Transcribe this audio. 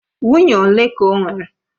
Nwunye ole ka o nwere?